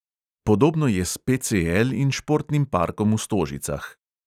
Podobno je s PCL in športnim parkom v stožicah.